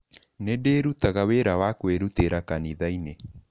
Nĩ ndĩrutaga wĩra wa kwĩrutĩra kanitha-inĩ.